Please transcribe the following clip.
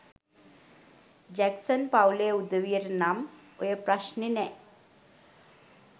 Jackson පවුලෙ උදවියට නං ඔය ප්‍රශ්නෙ නෑ